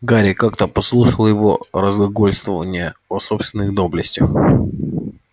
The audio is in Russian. гарри как-то подслушал его разглагольствования о собственных доблестях